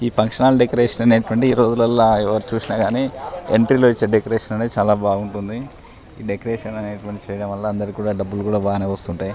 ఈ function hall decoration అనేటిది వంటిది ఈ రోజులల్లో ఎవరు చూసిన కానీ ఎంట్రీ లో ఎచయిన డెకరేషన్ చలా బాగుంటది డెకరేషన్ అనేటిది చేయటం వల్ల అందరికీ కూడా డబ్బులు కూడా బానే వస్తుంటాయి.